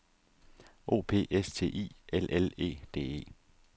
O P S T I L L E D E